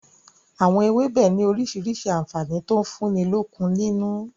Àwọn ewébẹ̀ ni orísirísi àǹfààní to ń fúnni lókun nínú